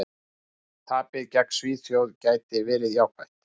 Tapið gegn Svíþjóð gæti verið jákvætt.